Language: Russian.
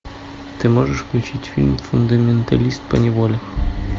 ты можешь включить фильм фундаменталист поневоле